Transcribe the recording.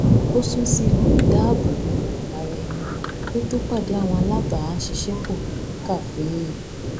ó sún sí ipò ìdáábòbò ara ẹni kí ó tó pàdé àwọn alábàáṣiṣẹ pọ ní kàféè